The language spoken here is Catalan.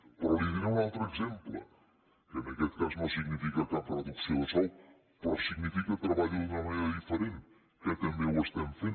però li diré un altre exemple que en aquest cas no significa cap reducció de sou però significa treballar d’una manera diferent que també ho estem fent